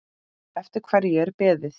Eftir hverju er beðið?